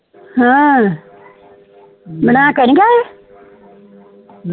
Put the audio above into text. ਹਾਂ ਬਣਾ ਕੇ ਨੀ ਗਏ